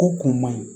Ko kun man ɲi